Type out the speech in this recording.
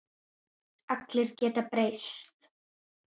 Allir geta breyst.